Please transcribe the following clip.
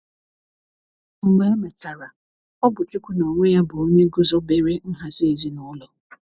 mgbe emechara, ọbụ chụkwu na onwe ya bụ onye gụzọbere nhazi ezinulo